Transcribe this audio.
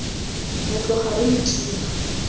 re tloga re lo thiba